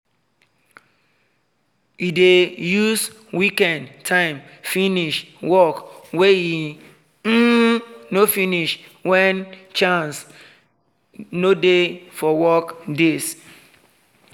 e dey use weekend time finish work wey e um no finish when chance no dey for weekdays